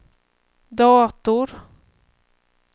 dator